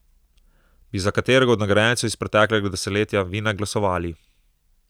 Bi za katerega od nagrajencev iz preteklega desetletja vi ne glasovali?